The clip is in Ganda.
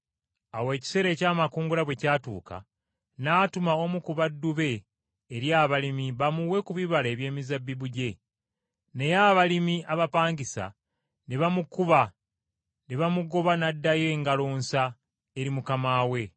Awo ekiseera eky’amakungula bwe kyatuuka, n’atuma omu ku baddu be eri abalimi bamuwe ku bibala eby’emizabbibu gye. Naye abalimi abapangisa ne bamukuba ne bamugoba n’addayo ngalo nsa eri mukama we.